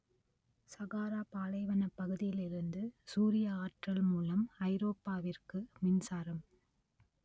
சகாரா பாலைவனப் பகுதியிலிருந்து சூரிய ஆற்றல் மூலம் ஐரோப்பாவிற்கு மின்சாரம்